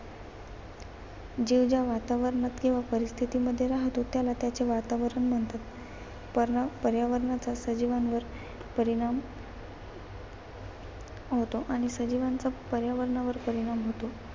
जीव ज्या वातावरणात किंवा परिस्थितीमध्ये राहातो त्याला त्याचे वातावरण म्हणतात. त्यामुळे पर्यावरणाचा सजीवांवर परिणाम होतो आणि सजीवांचा पर्यावरणावर परिणाम होतो.